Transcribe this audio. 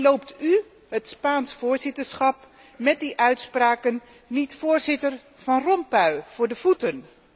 Loopt u, Spaans voorzitterschap, met die uitspraken niet voorzitter Van Rompuy voor de voeten?